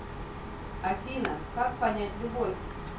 афина как понять любовь